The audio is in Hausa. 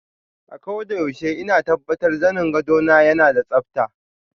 Akoda yaushe ina tabbatar zanin gwado na yana da tsabta.